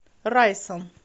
райсан